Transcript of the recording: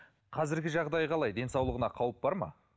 қазіргі жағдайы қалай денсаулығына қауіп бар ма